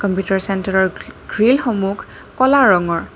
ভিতৰ চেণ্ট্ৰেলৰ গ্ৰি গ্ৰিলসমূহ ক'লা ৰঙৰ।